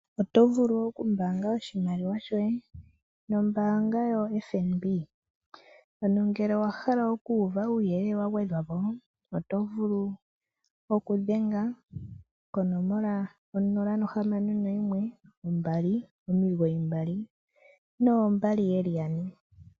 Otovulu oku okumbanga oshimaliwa shoye nombaanga yoFNB ano ngele owahala oku uva uuyelele wagwedhwapo oto vulu okudhenga konomola 0612992222.